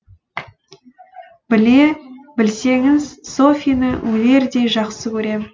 біле білсеңіз софьяны өлердей жақсы көрем